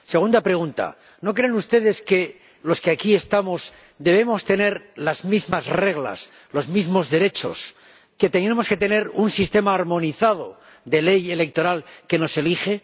Segunda pregunta ¿No creen ustedes que los que aquí estamos debemos tener las mismas reglas, los mismos derechos, que tenemos que tener un sistema armonizado de ley electoral para que se nos elija?